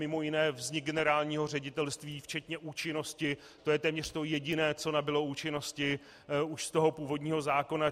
Mimo jiné vznik generálního ředitelství včetně účinnosti, to je téměř to jediné, co nabylo účinnosti už z toho původního zákona.